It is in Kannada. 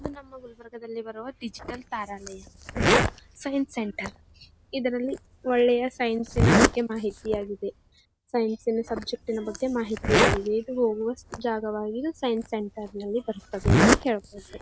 ಇದು ನಮ್ಮ ಗುಲ್ಬರ್ಗದಲ್ಲಿ ಬರುವ ಡಿಜಿಟಲ್ ತಾರಾಲಯ ಅದು ಸೈನ್ಸ್ ಸೆಂಟರ್ ಇದರಲ್ಲಿ ಒಳ್ಳೆಯ ಸೈನ್ಸ್ಸಿನ ಬಗ್ಗೆ ಮಾಹಿತಿ ಆಗಿದೆ ಸೈನ್ಸ್ ಸಿನ ಸಬ್ಜೆಕ್ಟ್ ಬಗ್ಗೆ ಮಾಹಿತಿ ಆಗಿದೆ ಇದು ಜಾಗವಾಗಿರೋದು ಸೈನ್ಸ್ ಸೆಂಟರ್ ನಲ್ಲಿ ಬರುತ್ತದೆ ಎಂದು .